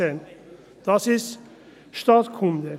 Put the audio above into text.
Das ist Staatskunde.